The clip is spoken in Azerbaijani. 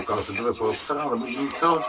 Bax, batırdılar, mən orada deyildim.